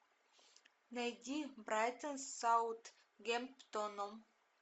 найди брайтон с саутгемптоном